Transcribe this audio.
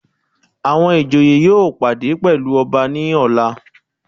Àwọn ìjòyè yóò pàdé pẹ̀lú ọba ní ọ̀la.